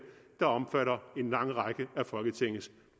der omfatter en lang række af folketingets